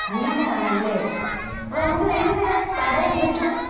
അങ്ങനെയാണല്ലേ അപ്പൊ നമുക്കിതെങ്ങനെ തടയാൻ പറ്റും